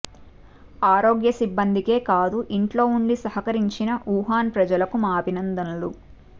ఆరోగ్య సిబ్బందికే కాదు ఇంట్లో ఉండి సహకరించిన వుహాన్ ప్రజలకు మా అభినందనలు